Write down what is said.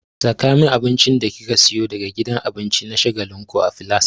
Saka min abincin da kika siyo daga gidan abinci na shagalinku a filas!